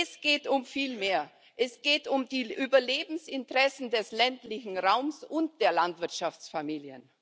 Es geht um viel mehr Es geht um die Überlebensinteressen des ländlichen Raums und der Landwirtschaftsfamilien.